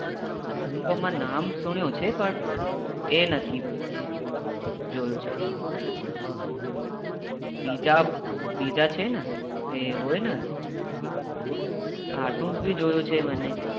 એનું તો હુએ નામ સુનીયો છે બટ એ નથી જોયો બીજા છે ને એ હોય ને cartoon ભી હોય ને